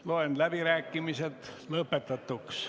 Loen läbirääkimised lõpetatuks.